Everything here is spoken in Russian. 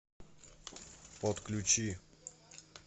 подключи